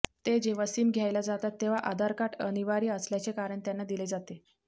ते जेव्हा सिम घ्यायला जातात तेव्हा आधार कार्ड अनिवार्य असल्याचे कारण त्यांना दिले जाते